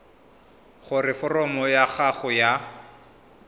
gore foromo ya gago ya